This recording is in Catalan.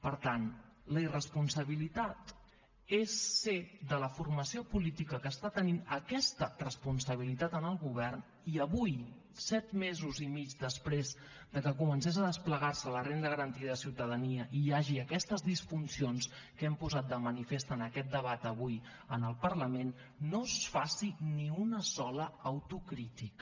per tant la irresponsabilitat és ser de la formació política que està tenint aquesta responsabilitat en el govern i avui set mesos i mig després que es comencés a desplegar la renda garantida de ciutadania i hi hagi aquestes disfuncions que hem posat de manifest en aquest debat avui en el parlament no es faci ni una sola autocrítica